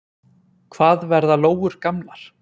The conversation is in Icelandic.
hvað verða lóur gamlar